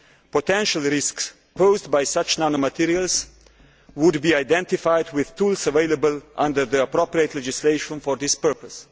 Potential risks posed by such nanomaterials would be identified with tools available under the appropriate legislation for this purpose.